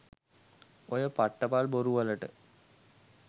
ඔය පට්ටපල් බොරු වලට